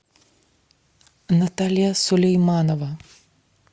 наталья сулейманова